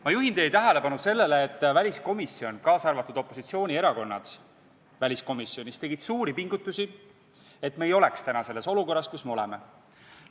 Ma juhin teie tähelepanu sellele, et väliskomisjonis tehti suuri pingutusi, et me ei oleks täna selles olukorras, kus me oleme.